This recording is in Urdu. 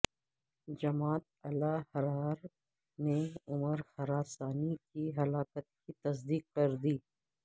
جماعت الاحرار نے عمر خراسانی کی ہلاکت کی تصدیق کر دی